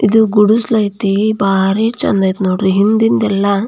ಇದು ಗುಡಿಸಲು ಐತಿ. ಬಾರಿ ಚಂದ್ ಐತ ನೋಡ್ರಿ ಹಿಂದಿಂದೆಲ್ಲಾ --